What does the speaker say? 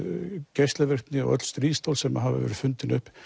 geislavirkni og öll stríðstól sem hafa verið fundin upp